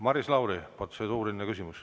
Maris Lauri, protseduuriline küsimus.